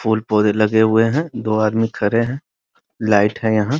फूल पौधे लगे हुए हैं दो आदमी खड़े हैं | लाइट है यहाँ |